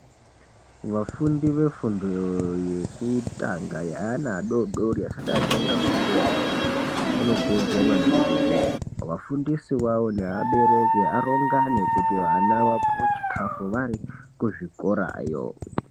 Vafundi vefundo yekutanga yeana adodori asati atanga fundo yekudhara anokurudzirwa maningi kuti vafundisi vavo nevabereki varongane kuti vana vapuwe chikafu varye vari kuzvikorayo.